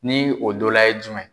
Ni o dɔla ye jumɛn ye.